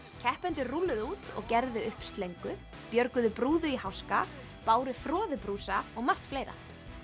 keppendur rúlluðu út og gerðu upp slöngu björguðu í háska báru froðubrúsa og margt fleira